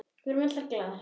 Við erum glaðar.